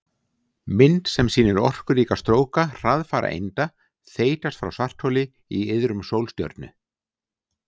Mynd sem sýnir orkuríka stróka hraðfara einda þeytast frá svartholi í iðrum sólstjörnu.